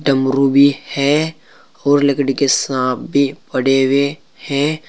डमरू भी है और लकड़ी के सांप भी पड़े हुए है।